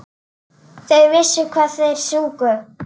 Þeir vissu hvað þeir sungu.